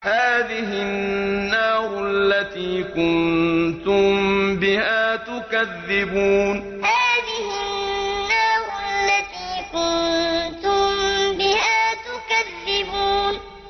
هَٰذِهِ النَّارُ الَّتِي كُنتُم بِهَا تُكَذِّبُونَ هَٰذِهِ النَّارُ الَّتِي كُنتُم بِهَا تُكَذِّبُونَ